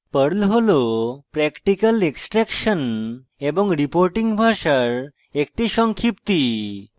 perl হল practical extraction এবং reporting ভাষার একটি সংক্ষিপ্তি